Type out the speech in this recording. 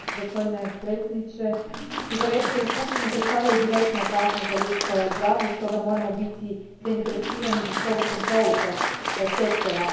Gospodine predsjedniče, cigarete i pušenje predstavljaju direktnu opasnost za ljudsko zdravlje, stoga moramo biti zainteresirani za strogu kontrolu tog sektora.